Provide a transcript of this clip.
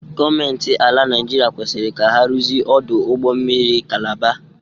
Gọọmenti ala Naịjiria kwesịrị ka ha ruzie ọdụ ụgbọ mmiri Kalaba.